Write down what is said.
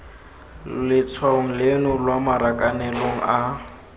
letshwaong leno lwa marakanelong a